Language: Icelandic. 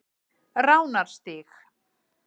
Ránarstíg